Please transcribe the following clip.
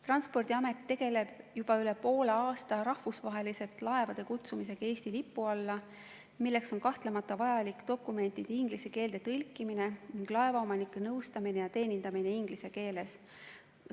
Transpordiamet tegeleb juba üle poole aasta rahvusvaheliste laevade kutsumisega Eesti lipu alla, milleks on kahtlemata vajalik dokumentide inglise keelde tõlkimine ning laevaomanike nõustamine ja teenindamine inglise keeles.